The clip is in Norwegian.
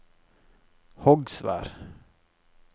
Hogsvær